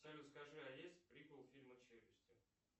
салют скажи а есть приквел фильма челюсти